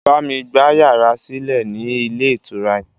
Bámi gba yàrá sílẹ̀ ni ilé ìtura yẹn!